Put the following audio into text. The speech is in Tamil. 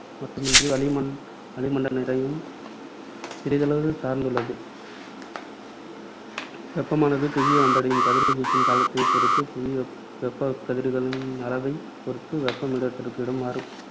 மட்டுமின்றி வளிமண்~ வளிமண்டல நிறையையும் சிறிதளவு சார்ந்துள்ளது. வெப்பமானது புவியை வந்தடையும் கதிர்வீச்சின் காலத்தைப் பொறுத்தும் புவி வெப்பகதிர்களின் அளவை பொறுத்தும் வெப்பம் இடத்திற்கு இடம் மாறும்.